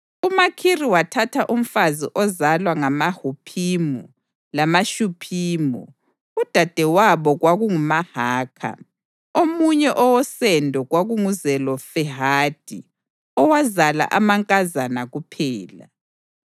UMakhiri wathatha umfazi ozalwa ngamaHuphimu lamaShuphimu. Udadewabo kwakunguMahakha. Omunye owosendo kwakunguZelofehadi owazala amankazana kuphela.